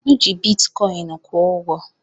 M ji bitikọin kwụ ụgwọ.